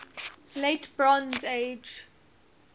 late bronze age